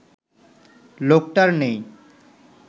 লোকটার নেই